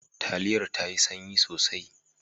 Taliyar ta sanyi sosai.